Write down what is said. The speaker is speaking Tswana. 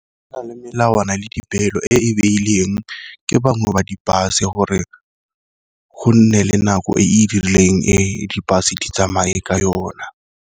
Go na le melawana le dipeelo e beileng ke bangwe ba di-bus-e, gore gonne le nako e e rileng e di-bus-e di tsamaye ka yona.